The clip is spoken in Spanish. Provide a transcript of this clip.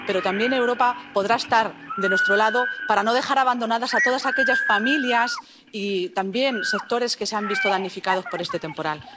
Pero también Europa podrá estar de nuestro lado para no dejar abandonadas a todas aquellas familias y también sectores que se han visto damnificados por este temporal.